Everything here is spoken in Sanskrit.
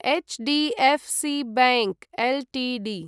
HDFC bank Ltd